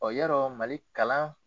yɔrɔ Mali kalan